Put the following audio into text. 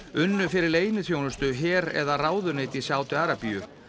unnu fyrir leyniþjónustu her eða ráðuneyti í Sádi Arabíu